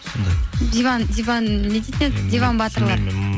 диван не дейтін еді диван батырлар